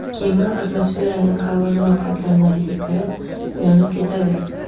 Kema atmosferaning qalinroq qatlamlariga kirib, yonib ketadi.